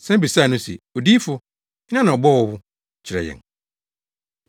san bisaa no se, “Odiyifo, hena na ɔbɔɔ wo? Kyerɛ yɛn.”